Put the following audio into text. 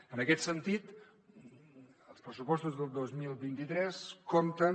en aquest sentit els pressupostos del dos mil vint tres compten